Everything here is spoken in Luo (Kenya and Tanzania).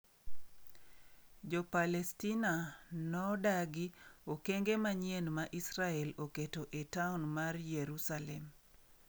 Jo Palestina nodagi okenge manyien ma Israel oketo e taon mar Yerusalem